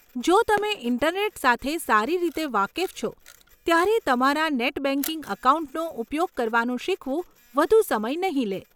જો તમે ઈન્ટરનેટ સાથે સારી રીતે વાકેફ છો, ત્યારે તમારા નેટ બેંકિંગ એકાઉન્ટનો ઉપયોગ કરવાનું શીખવું વધુ સમય નહીં લે.